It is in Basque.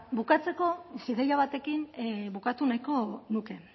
bukatzeko ideia batekin bukatu nahiko nuke